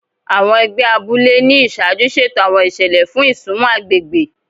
Àwọn egbé abúlé ní iṣaaju ṣeto àwọn ìṣẹlẹ fún isunmọ agbègbè